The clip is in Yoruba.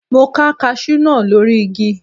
Mo ká kaṣú náà lórí igi.